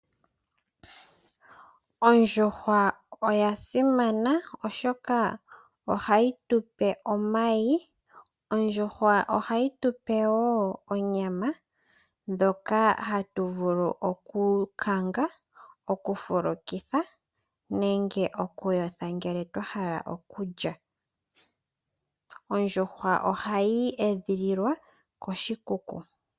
Oondjuhwa oya simana oshoka ohayi tupe omayi. Ondjuhwa ohayi tupewo onyama ndhoka hatu vulu oku kanga, oku fulukitha nenge oku yotha ngele twa hala okulya Oondjuhwa ohayi edhililwa koshikuku.